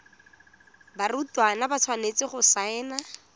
barutwana ba tshwanetse go saena